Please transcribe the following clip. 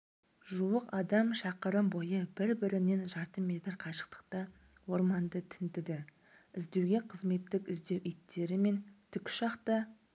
жуық адам шақырым бойы бір-бірінен жарты метр қашықтықта орманды тінтіді іздеуге қызметтік-іздеу иттері мен тікұшақ та